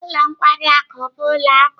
Ụlọ nkwari akụ bụ ụlọ oku.